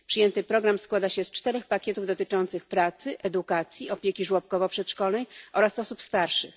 Przyjęty program składa się z czterech pakietów dotyczących pracy, edukacji, opieki żłobkowo przedszkolnej oraz osób starszych.